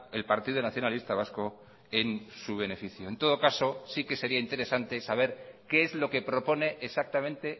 el partido nacionalista vasco en su beneficio en todo caso sí que sería interesante saber qué es lo que propone exactamente